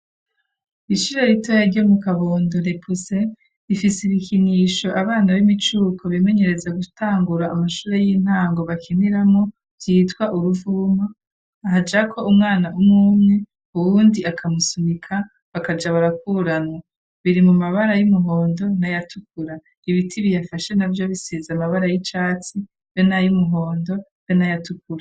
Ishure rito ryo mu kabondo ifise ibikinisho abana b'imicuko bemenyereza gutangura amashure y'intango bakiniramo vyitwa uruvuma. Hajako umwana w'umwumwe uwundi akamusunika bakaja barakuranwa. Biri mu mabara y'umuhondo nayatukura ibiti biyafashe nabyo bisize amabara y'icatsi be n'ay'umuhondo be nayatukura.